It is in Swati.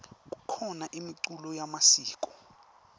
kukhona imiculo yemasiko